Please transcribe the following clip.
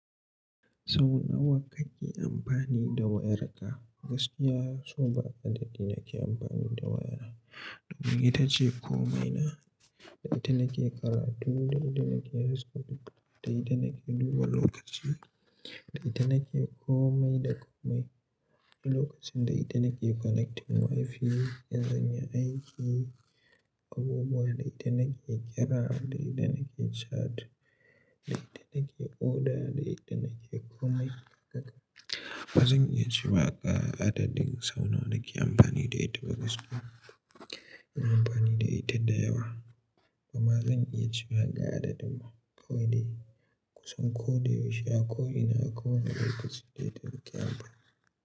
Sau nawa kake amfani da wayarka? Gaskiya so ba adadi nake amfani da waya. Domin ita ce komaina. Da ita nake karatu, da ita nake Facebook, da ita nake duba lokaci da ita nake komai da komai. Ni lokacin da ita nake connecting WiFi, in zanyi aiki, abubuwan, da ita nake kira, da ita nake chat, da ita nake oda, da ita nake komai haka. Ba zan iya cewa ga, adadin sau nawa nake amfani da ita ba gaskiya. Ina amfani da ita, da yawa. Kuma zan iya ci maka adadin kowane kusan ko da yaushe a ko ina, a kowane lokaci da ita nake amfani.